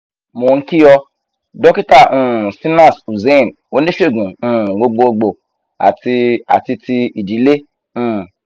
mo n ki o dókítà um shinas hussain oníṣègùn um gbogbogbo ati ati ti idile um